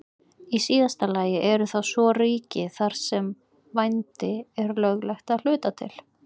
Í síðasta lagi eru það svo ríki þar sem vændi er löglegt að hluta til.